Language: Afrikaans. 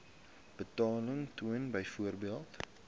betaling toon byvoorbeeld